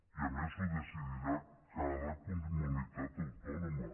i a més ho decidirà cada comunitat autònoma